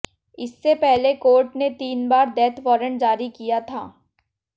इससे पहले कोर्ट ने तीन बार डेथ वारंट जारी किया था